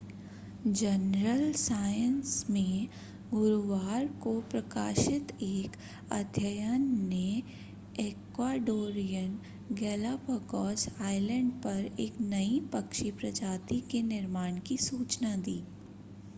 journal science में गुरूवार को प्रकाशित एक अध्ययन ने इक्वाडोरियन गैलापागोस आइलैंड पर एक नई पक्षी प्रजाति के निर्माण की सूचना दी